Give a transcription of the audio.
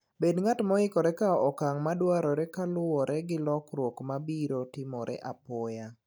Bed ng'at moikore kawo okang' madwarore kaluwore gi lokruok ma biro timore apoya.